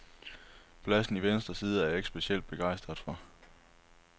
Pladsen i venstre side er jeg ikke specielt begejstret for.